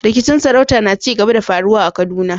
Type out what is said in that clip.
Rikicin sarauta na ci gaba da faruwa a Kaduna.